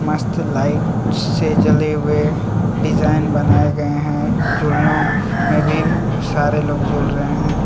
मस्त लाइट से जले हुए डिजाइन बनाए गए हैं झूलनो में भी सारे लोग जोल रहे हैं.